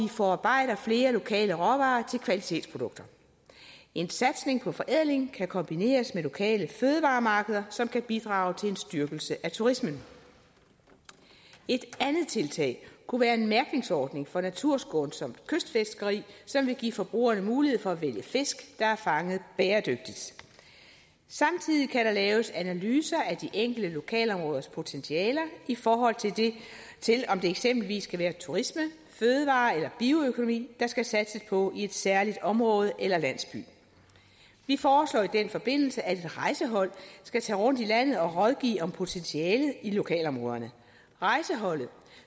forarbejder flere lokale råvarer til kvalitetsprodukter en satsning på forædling kan kombineres med lokale fødevaremarkeder som kan bidrage til en styrkelse af turismen et andet tiltag kunne være en mærkningsordning for naturskånsomt kystfiskeri som vil give forbrugerne mulighed for at vælge fisk der er fanget bæredygtigt samtidig kan der laves analyser af de enkelte lokalområders potentiale i forhold til om det eksempelvis kan være turisme fødevarer eller bioøkonomi der skal satses på i et særligt område eller landsby vi foreslår i den forbindelse at et rejsehold skal tage rundt i landet og rådgive om potentialet i lokalområderne rejseholdet